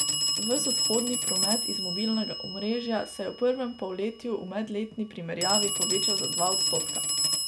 Ves odhodni promet iz mobilnega omrežja se je v prvem polletju v medletni primerjavi povečal za dva odstotka.